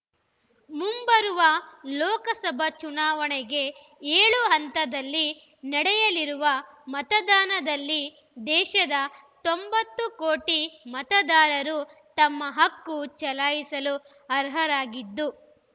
ಮುಂಬರುವ ಲೋಕಸಭಾ ಚುನಾವಣೆಗೆ ಏಳು ಹಂತದಲ್ಲಿ ನಡೆಯಲಿರುವ ಮತದಾನದಲ್ಲಿ ದೇಶದ ತೊಂಬತ್ತು ಕೋಟಿ ಮತದಾರರು ತಮ್ಮ ಹಕ್ಕು ಚಲಾಯಿಸಲು ಅರ್ಹರಾಗಿದ್ದು